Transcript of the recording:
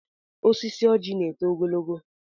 Osisi ọjị na-eto ogologo.